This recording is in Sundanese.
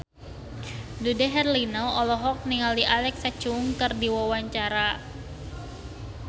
Dude Herlino olohok ningali Alexa Chung keur diwawancara